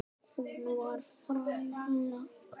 Hún var frænka.